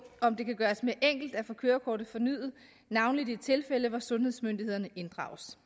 om det kan gøres mere enkelt at få kørekortet fornyet navnlig i de tilfælde hvor sundhedsmyndighederne inddrages